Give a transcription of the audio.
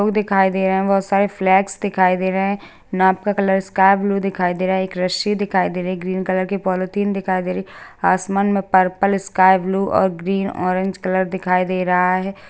लोग दिखाई दे रहे हैं बहोत सारे फ्लैग दिखाई दे रहे हैं नाव का कलर स्काई ब्लू दिखाई दे रहा एक रस्सी दिखाई दे रही ग्रीन कलर की पॉलिथीन दिखाई दे रही आसमान में पर्पल स्काई ब्लू और ग्रीन ऑरेंज कलर दिखाई दे रहा हैं।